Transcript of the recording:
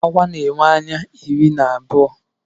Awa na-enwe ụkwụ iri na abụọ.